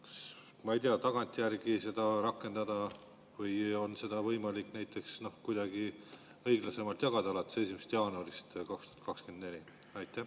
Kas seda saab tagantjärgi rakendada või on seda võimalik kuidagi õiglasemalt jagada, alates 1. jaanuarist 2024?